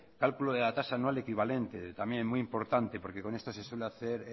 cálculo de la tasa anual equivalente también muy importante porque con esto se suele hacer